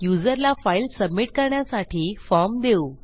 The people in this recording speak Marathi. युजरला फाईल सबमिट करण्यासाठी फॉर्म देऊ